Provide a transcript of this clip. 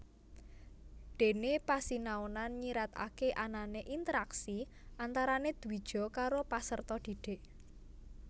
Dene pasinaonan nyiratake anane interaksi antarane dwija karo paserta dhidhik